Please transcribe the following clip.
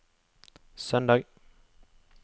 søndag